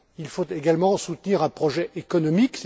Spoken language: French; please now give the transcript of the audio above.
Il faut également soutenir un projet économique.